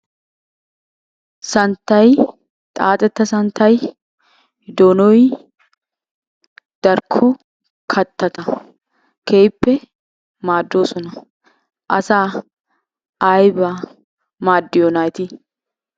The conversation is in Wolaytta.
Santtay xaaxetta santtay, donoyi darkko kattata. Keehippe maaddoosona. Asaa ayibaa maaddiyoonaa eti?